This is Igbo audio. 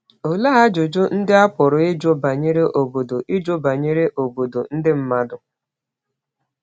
Olee ajụjụ ndị a pụrụ ịjụ banyere “obodo ịjụ banyere “obodo ndị mmadụ”?